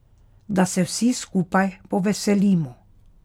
Da se vsi skupaj poveselimo.